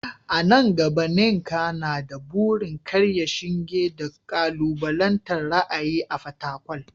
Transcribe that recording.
A nan gaba, Nneka na da burin karya shinge da kalubalantar ra’ayi a Fatakwal.